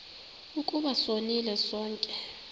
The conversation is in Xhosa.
ukuba sonile sonke